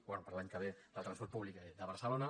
bé per a l’any que ve del transport públic de barcelona